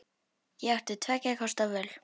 Ég átti tveggja kosta völ.